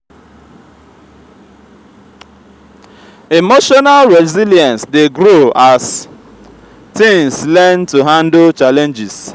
emotional resilience dey grow as teens learn to handle challenges.